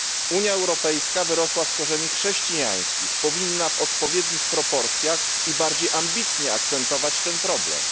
Unia Europejska wyrosła z korzeni chrześcijańskich, powinna w odpowiednich proporcjach i bardziej ambitnie akcentować ten problem.